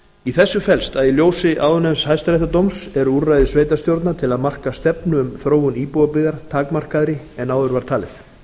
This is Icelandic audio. í þessu felst að í ljósi áðurnefnds hæstaréttardóms eru úrræði sveitarstjórna til að marka stefnu um þróun íbúðarbyggðar takmarkaðri áður var talið